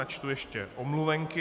Načtu ještě omluvenky.